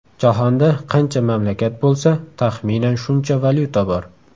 Jahonda qancha mamlakat bo‘lsa, taxminan shuncha valyuta bor.